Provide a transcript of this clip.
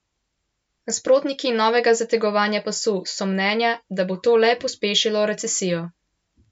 Nasprotniki novega zategovanja pasu so mnenja, da bo to le pospešilo recesijo.